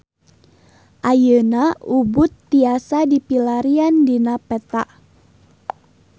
Ayeuna Ubud tiasa dipilarian dina peta